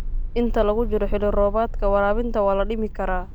Inta lagu jiro xilli-roobaadka, waraabinta waa la dhimi karaa.